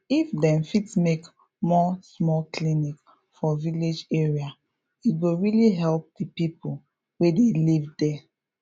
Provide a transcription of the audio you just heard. if dem fit make more small clinic for village area e go really help the people wey dey live there